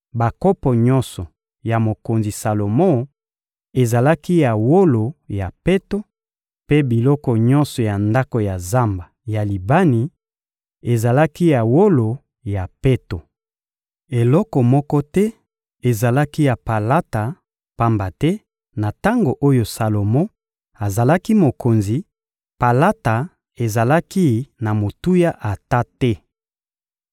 Bakopo nyonso ya mokonzi Salomo ezalaki ya wolo ya peto, mpe biloko nyonso ya ndako ya Zamba ya Libani ezalaki ya wolo ya peto. Eloko moko te ezalaki ya palata, pamba te, na tango oyo Salomo azalaki mokonzi, palata ezalaki na motuya ata te.